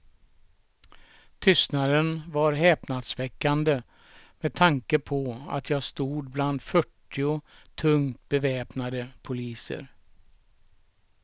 Tystnaden var häpnadsväckande med tanke på att jag stod bland fyrtio tungt beväpnade poliser.